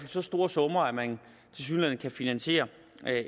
så store summer at man tilsyneladende kan finansiere